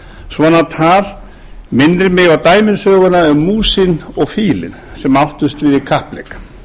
svona tal minnir mig á dæmisöguna um músina og fílinn sem áttust við í kappleik